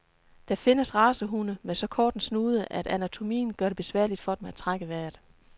Der findes racehunde med så kort en snude, at anatomien gør det besværligt for dem at trække vejret.